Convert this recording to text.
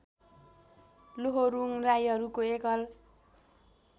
लोहोरुङ राईहरूको एकल